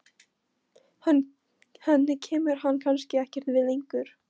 Henni kemur hann kannski ekkert við lengur.